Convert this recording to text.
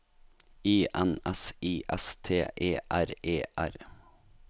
I N S I S T E R E R